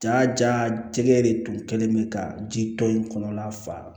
Jaa ja de tun kɛlen bɛ ka ji tɔn in kɔnɔna fa